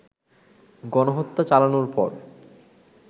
গণহত্যা চালানোর পর